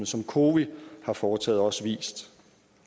som cowi har foretaget også vist